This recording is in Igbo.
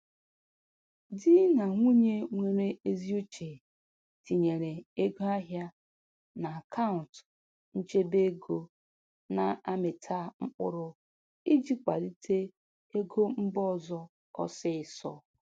Di na nwunye nwere ezi uche tinyere ego ahịa n'akaụntụ nchebe ego na-amịta mkpụrụ iji kwalite ego mba ọzọ ọsịịsọ.